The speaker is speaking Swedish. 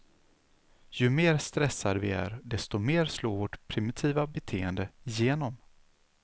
Ju mer stressade vi är desto mer slår vårt primitiva beteende igenom.